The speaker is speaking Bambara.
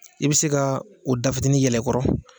I be se kaa o da fitini yɛlɛ kɔrɔ